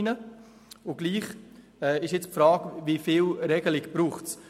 Jetzt stellt sich die Frage, wie viel Regelung es braucht.